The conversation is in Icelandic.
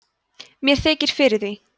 mér þykir fyrir því